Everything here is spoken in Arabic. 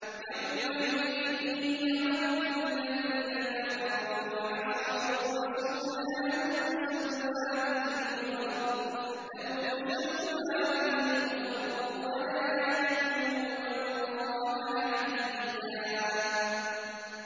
يَوْمَئِذٍ يَوَدُّ الَّذِينَ كَفَرُوا وَعَصَوُا الرَّسُولَ لَوْ تُسَوَّىٰ بِهِمُ الْأَرْضُ وَلَا يَكْتُمُونَ اللَّهَ حَدِيثًا